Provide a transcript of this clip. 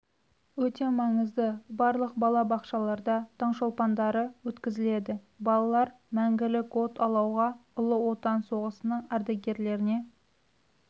өте маңызды барлық бала бақшаларда таңшолпандары өткізіледі балалар мәңгілік от алауға ұлы отан соғысының ардагерлеріне